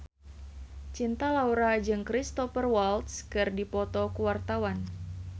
Cinta Laura jeung Cristhoper Waltz keur dipoto ku wartawan